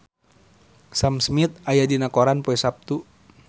Sam Smith aya dina koran poe Saptu